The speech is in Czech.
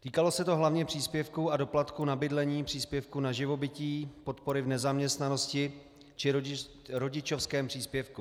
Týkalo se to hlavně příspěvků a doplatků na bydlení, příspěvků na živobytí, podpory v nezaměstnanosti či rodičovském příspěvku.